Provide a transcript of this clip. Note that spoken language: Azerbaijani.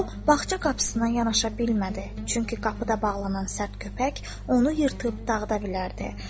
O bağça qapısına yanaşa bilmədi, çünki qapıda bağlanan sərt köpək onu yırtıb dağıda bilərdi.